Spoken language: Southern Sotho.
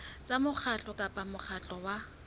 tsa mokgatlo kapa mokgatlo wa